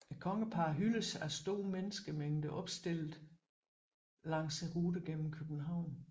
Kongeparret hyldes af store menneskemængder opstillet langs ruten gennem København